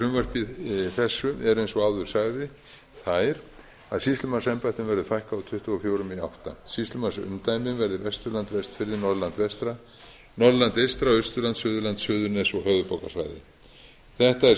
með frumvarpi þessu eru eins og áður sagði þær að sýslumannsembættum verði fækkað úr tuttugu og fjögur í áttunda sýslumannsumdæma verði vesturland vestfirðir norðurland vestra norðurland eystra austurland suðurland suðurnes og höfuðborgarsvæðið þetta er